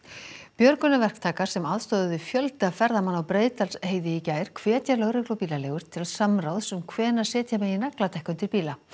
björgunarverktakar sem aðstoðuðu fjölda ferðamanna á Breiðdalsheiði í gær hvetja lögreglu og bílaleigur til samráðs um hvenær setja megi nagladekk undir bíla